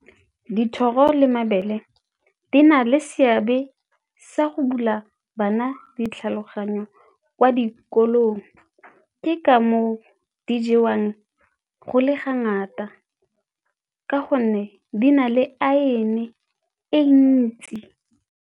Dithoro le mabele di na le seabe sa go bula bana ditlhaloganyo kwa dikolong, ke ka moo di jewang go le ga ngata ka gonne di na le iron e ntsi.